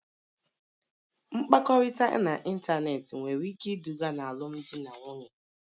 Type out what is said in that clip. Mkpakọrịta n'ịntanetị nwere ike iduga n'alụmdi na nwunye